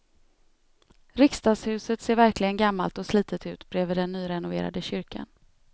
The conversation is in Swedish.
Riksdagshuset ser verkligen gammalt och slitet ut bredvid den nyrenoverade kyrkan.